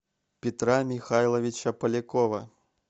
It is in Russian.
петра михайловича полякова